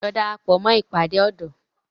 Lọ darapọ̀ mó ìpàdé ọ̀dọ́!